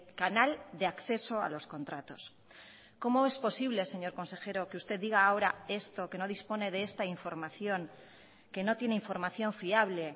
canal de acceso a los contratos cómo es posible señor consejero que usted diga ahora esto que no dispone de esta información que no tiene información fiable